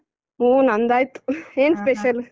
ಹೂ ನಂದಾಯ್ತು ಏನ್ special ?